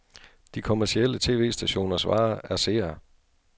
De kommercielle tv-stationers vare er seere.